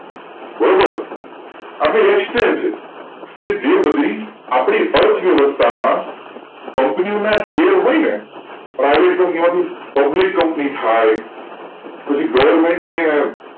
બરોબર હવે exchange કેજે બધી આપણી અર્થવ્યવસ્થા માં company ના શેર હોયને પરિવર્તે company માં થઇ પબ્લિક company થાય પેલી government ની